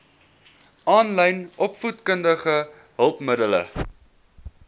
aanlyn opvoedkundige hulpmiddele